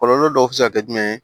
Kɔlɔlɔ dɔw bɛ se ka kɛ jumɛn ye